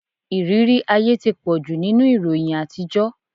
Ìrírí ayé ti pọ̀jù nínú ìròyìn àtijọ́.